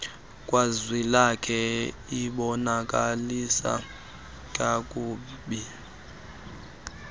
kazwilakhe ibonakalisa kakuhie